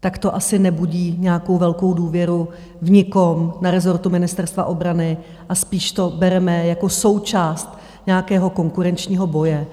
tak to asi nebudí nějakou velkou důvěru v nikom na rezortu Ministerstva obrany a spíš to bereme jako součást nějakého konkurenčního boje.